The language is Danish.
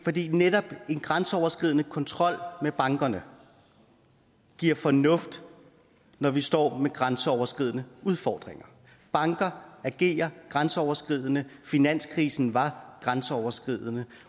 fordi netop en grænseoverskridende kontrol med bankerne giver fornuft når vi står med grænseoverskridende udfordringer banker agerer grænseoverskridende finanskrisen var grænseoverskridende